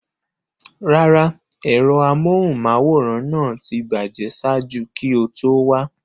Rárá, ẹ̀rọ amóhùnmáwòrán náà ti bàjẹ́ ṣáájú kí o tó wá.